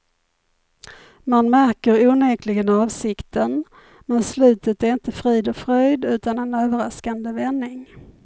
Man märker onekligen avsikten, men slutet är inte frid och fröjd utan en överraskande vändning.